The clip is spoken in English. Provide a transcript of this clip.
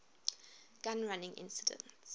gun running incident